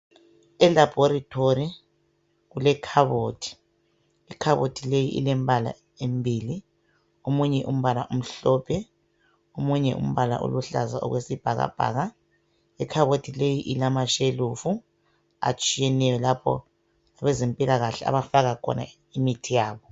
Elabhorithori kulekhabothi. Ikhabothi leyi ilembala embili. Omunye umbala umhlophe, omunye umbala uluhlaza okwesibhakabhaka. Ikhabothi leyi ilamashelufu atshiyeneyo lapho abezempilakahle abafaka khona imithi yabo.